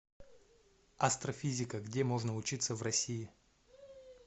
астрофизика где можно учиться в россии